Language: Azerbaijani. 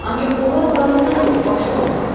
Ancaq onlar qarında yox, başda olur.